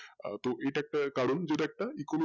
তো ইটা একটা কারণ যে টা একটা econo